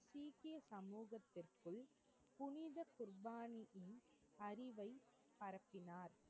குர்பானியின் அறிவை பரப்பினார்.